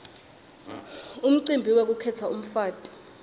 umcibi wekukhetsa umfati